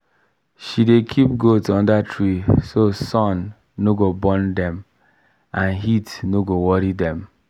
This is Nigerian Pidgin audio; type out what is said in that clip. she dey keep goat under tree so sun no go burn dem and heat no go too worry dem.